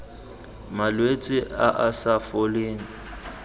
malwetse a a sa foleng